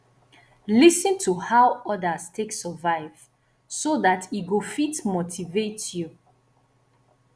lis ten to how others take survive so that e go fit motivate you